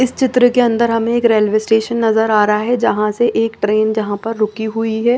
इस चित्र के अंदर हमें एक रेलवे स्टेशन नजर आ रहा है जहां से एक ट्रेन जहां पर रुकी हुई है।